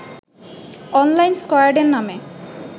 online স্কয়াডের নামে